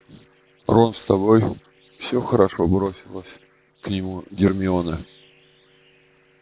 рон с тобой все хорошо бросилась к нему гермиона